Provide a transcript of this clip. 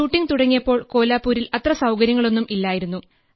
shooting തുടങ്ങിയപ്പോൾ കോലാപ്പൂരിൽ അത്ര സൌകര്യങ്ങളൊന്നും ഇല്ലായിരുന്നു